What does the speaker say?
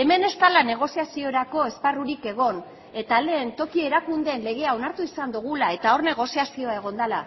hemen ez dela negoziaziorako esparrurik egon eta lehen toki erakundeen legea onartu izan dugula eta hor negoziazioa egon dela